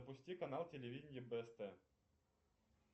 запусти канал телевидения бст